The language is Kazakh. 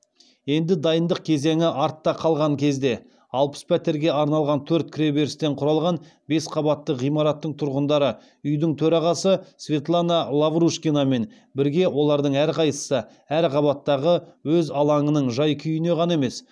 енді дайындық кезеңі артта қалған кезде алпыс пәтерге арналған төрт кіреберістен құралған бес қабатты ғимараттың тұрғындары үйдің төрағасы светлана лаврушкинамен бірге олардың әрқайсысы әр қабаттағы өз алаңының жай күйіне ғана емес